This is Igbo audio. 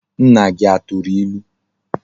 Nna gi aturu ilu?